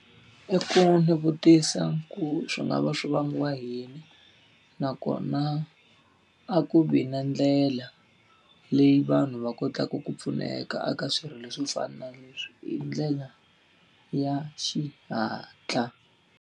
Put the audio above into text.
I ku ni vutisa ku swi nga va swi vangiwa hi yini, nakona a ku vi na ndlela leyi vanhu va kotaka ku pfuneka eka aka swirilo swo fana na leswi hi ndlela ya xihatla.